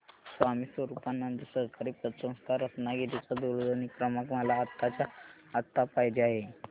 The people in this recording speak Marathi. स्वामी स्वरूपानंद सहकारी पतसंस्था रत्नागिरी चा दूरध्वनी क्रमांक मला आत्ताच्या आता पाहिजे आहे